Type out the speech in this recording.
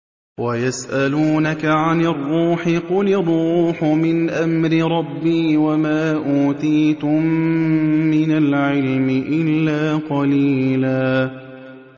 وَيَسْأَلُونَكَ عَنِ الرُّوحِ ۖ قُلِ الرُّوحُ مِنْ أَمْرِ رَبِّي وَمَا أُوتِيتُم مِّنَ الْعِلْمِ إِلَّا قَلِيلًا